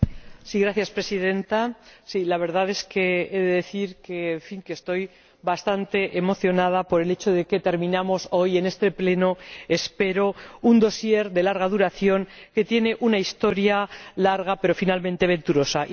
Señora Presidenta, la verdad es que he de decir que estoy bastante emocionada por el hecho de que terminamos hoy en este Pleno espero un dosier de larga duración, que tiene una historia larga, pero finalmente venturosa.